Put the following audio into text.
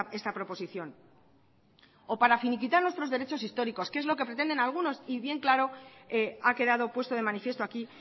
esta proposición o para finiquitar nuestros derechos históricos que es lo que pretenden algunos y bien claro ha quedado puesto de manifiesto aquí